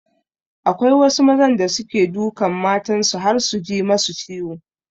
Akwai wasu mazan da suke dukan matan su har su ji masu ciwo.